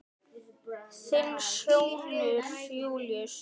Þinn sonur Júlíus.